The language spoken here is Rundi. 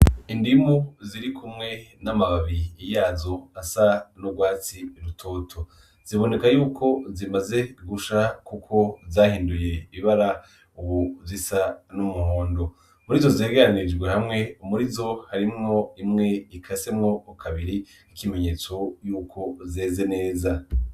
Indimu zirikumwe n'amababi yazo asa n'urwatsi rutoto ziboneka yuko zimaze gusha kuko zahinduye ibara ubu zisa n'umuhondo. Muri izo zegeranirijwe hamwe, muri izo harimwo imwe ikasemwo kabiri ikimenyetso yuko zeze neza.